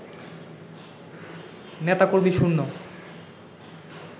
নেতাকর্মী শূন্য